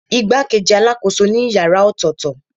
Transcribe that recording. Igbakeji alakoso ni ìyára ọtọtọ.